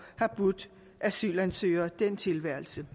har budt asylansøgere den tilværelse